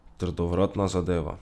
Trdovratna zadeva.